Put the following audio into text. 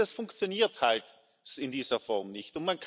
Das funktioniert halt in dieser Form nicht.